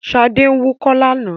Ṣadé ń wúkọ́ lánàá.